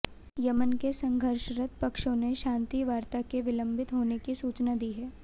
Yemen के संघर्षरत पक्षों ने शांतिवार्ता के विलंबित होने की सूचना दी है